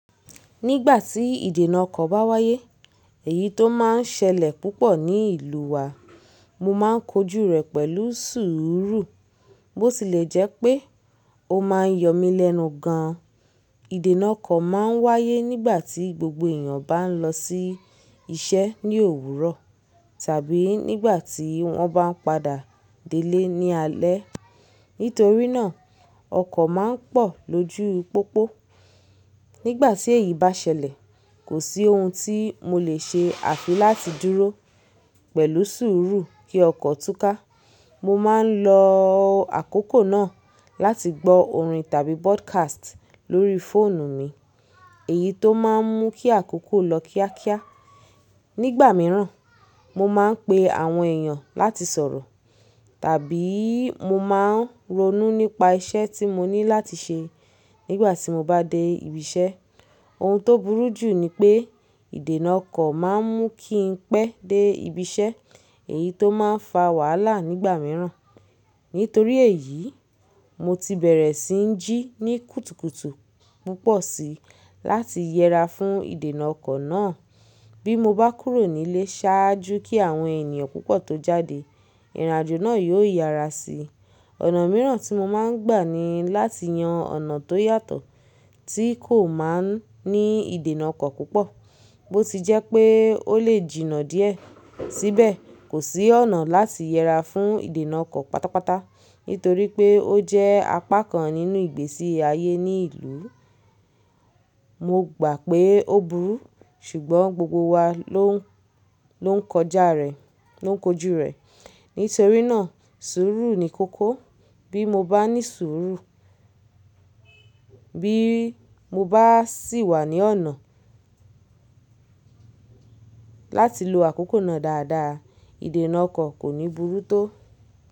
Nígbà tí ìdènà ọkọ̀ bá wáyé, èyí tó máa ń ṣẹlẹ̀ púpọ̀ ní ìlú wa, mo máa ń kojú rẹ̀ pẹ̀lú sùúrù. Bó ti lè jẹ́ pé ó máa ń yọ mí lẹ́nu gan an. Ìdènà ọkọ̀ máa ń wáyé nígbà tí gbogbo èèyàn bá ń lọ sí iṣẹ́ ní òwúrọ̀ tàbí nígbà tí wọ́n bá ń padà délẹ́ ní alẹ́. Nítorí náà, ọkọ̀ máa ń pọ̀ lójú pópó. Nígbà tí èyí bá ṣẹlẹ̀, kò sí ohun tí mo lè ṣe àfi láti dúró pẹ̀lú sùúrù kí ọkọ̀ túká. Mo má ń lo àkókò náà láti gbọ́ orin tàbí podcast lórí fóònù mi, èyí tó máa ń mú kí àkókò lọ kíákíá. Nígbà mìíràn, mo máa ń pe àwọn èèyàn láti sọ̀rọ̀ tàbí mo máa ń ronú nípa iṣẹ́ tí mo ní láti ṣe nígbà tí mo bá dé ibi iṣẹ́. Ohun tó burú jù ni pé ìdènà ọkọ̀ máa ń mú kí n pẹ́ dé ibi iṣẹ́, èyí tó máa ń fa wàhálà nígbà mìíràn. Nítorí èyí, mo ti bẹ̀rẹ̀ sí ń jí ní kùtùkùtù púpọ̀ si láti yẹra fún ìdènà ọkọ̀ náà. Bí mo bá kúrò nílé ṣáájú kí àwọn ènìyàn púpọ̀ tó jáde, ìrìn àjò náà yóò yára si. Ọ̀nà mìíràn tí mo máa ń gbà ni láti yan ọ̀nà tó yàtọ̀ tí kò máa ń ní ìdènà ọkọ̀ púpọ̀, bó ti jẹ́ pé ó lè jìnnà díẹ̀. Síbẹ̀, kò sí ọ̀nà láti yẹra fún ìdènà ọkọ̀ pátápátá nítorí pé ó jẹ́ apá kan nínú ìgbésí ayé ní ìlú. Mo gbà pé ó burú, ṣùgbọ́n gbogbo wa ló ń kọjá rẹ̀, ló ń kojú rẹ̀. Nítorí náà, sùúrù ni kókó. Bí mo bá ní sùúrù, bí mo bá sì wà ní ọ̀nà láti lo àkókò náà dáadáa, ìdènà ọkọ̀ kò ní burú tó.